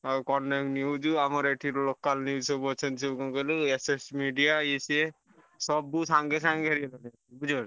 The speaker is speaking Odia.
ଆଉ କନକ news ଆମର ଏଠି local news ସବୁ ଅଛନ୍ତି କଣ କହିଲୁ SS media ଇଏ ସିଏ ସବୁ ସାଙ୍ଗେ ସାଙ୍ଗେ ବୁଝିପାରୁଛ।